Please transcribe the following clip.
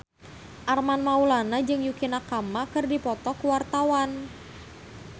Armand Maulana jeung Yukie Nakama keur dipoto ku wartawan